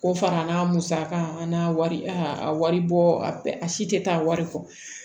Ko fana n'a musaka an n'a wari a wari bɔ a si tɛ taa wari kɔ